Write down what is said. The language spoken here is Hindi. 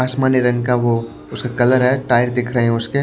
आसमानी रंग का वो उसका कलर है टायर दिख रहे हैं उसके।